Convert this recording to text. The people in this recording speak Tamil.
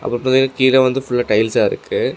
கீழ வந்து ஃபுல்லா டைல்ஸா இருக்கு.